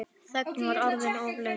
Þögnin var orðin of löng.